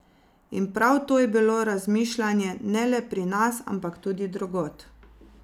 In prav to je bilo razmišljanje ne le pri nas, ampak tudi drugod.